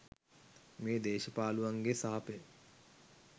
මේ දේශ පාලුවන්ගේ සාපය.